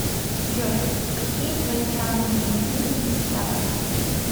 джой какие твои самые не любимые места